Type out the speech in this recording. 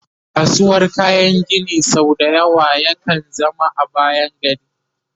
kasuwar kayan Gini sau da yawa ya kan zama a bayan gari